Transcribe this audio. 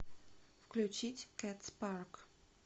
включить кэтс парк